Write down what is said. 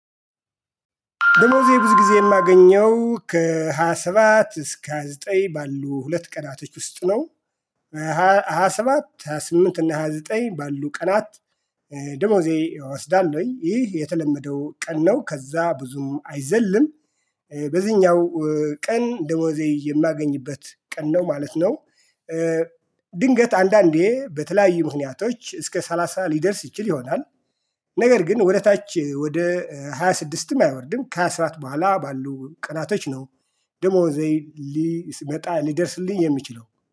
ደሞዜ ብዙ ጊዜ የማገኘው ከሃያ ሰባት እስከ ሃያ ዘጠኝ ባሉ ሁለት ቀናቶች ውስጥ ነው። ሃያ ሰባት ሃያ ስምንት እና ሃያ ዘጠኝ ባሉ ቀናት። ደሞዜ እወስዳለሁኝ ይህ የተለመደው ቀን ነው ከዛ ብዙም አይዘልም። በዚህኛው ቀን ደሞዜ የማገኝበት ቀን ነው ማለት ነው። ድንገት አንዳንዴ በተለያዩ ምክንያቶች እስከ ሰላሳ ሊደርስ ይችል ይሆናል። ነገር ግን ወደ ታች ወደ ሃያ ስድስት አይወርድም ከሃያ ሰባት በኋላ ባሉ ቀናቶች ነው። ደሞዜ ሊመጣ ሊደርስልኝ የሚችለው